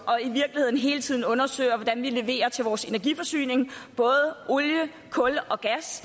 i virkeligheden hele tiden undersøger hvordan vi leverer til vores energiforsyning både olie kul og gas